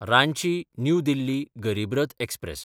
Ranchi New Delhi Garib Rath express